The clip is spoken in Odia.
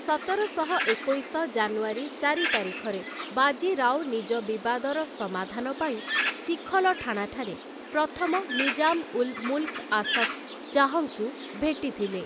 ସତରଶହ ଏକୋଇଶ ଜାନୁଆରୀ ଚାରି ତାରିଖରେ, ବାଜି ରାଓ ନିଜ ବିବାଦର ସମାଧାନ ପାଇଁ ଚିଖଲଠାଣାଠାରେ ପ୍ରଥମ ନିଜାମ୍ ଉଲ୍ ମୁଲ୍କ୍ ଆସଫ୍ ଜାହ୍‌ଙ୍କୁ ଭେଟିଥିଲେ ।